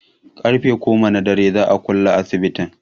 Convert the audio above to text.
Ƙarfe goma na dare za'a kulle asibitin